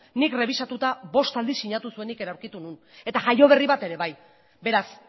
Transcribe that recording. nik errebisatuta bost aldiz sinatu zuenik ere aurkitu nuen eta jaioberri bat ere bai beraz